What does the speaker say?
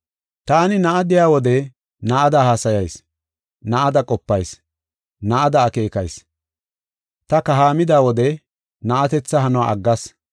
Taani na7a de7iya wode na7ada haasayis; na7ada qopayis; na7ada akeekayis. Ta kahaamida wode na7atetha hanuwa aggas.